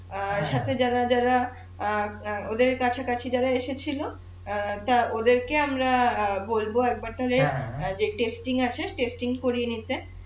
সাথে যারা যারা অ্যাঁ ওদের কাছাকাছি যারা এসেছিলো অ্যাঁ ওদের কে আমরা বলবো যে আছে করিয়ে নিতে